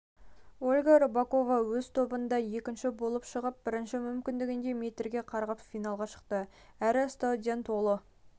ольга рыпакова өз тобында екінші болып шығып бірінші мүмкіндігінде метрге қарғып финалға шықты әрі стадион толы